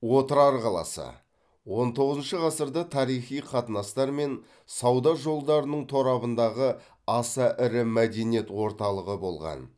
отырар қаласы он тоғызыншы ғасырда тарихи қатынастар мен сауда жолдарының торабындағы аса ірі мәдениет орталығы болған